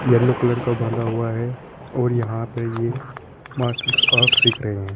Yellow colour का बंधा हुआ है और यहां पर ये मार्शल आर्ट सीख रहे हैं।